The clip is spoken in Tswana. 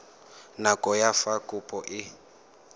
nako ya fa kopo e